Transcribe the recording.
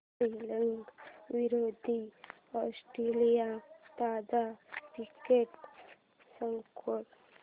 श्रीलंका विरूद्ध ऑस्ट्रेलिया ताजा cricket score